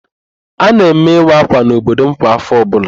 A na-eme ịwa ákwà n'obodo m kwa áfọ̀ ọbụla.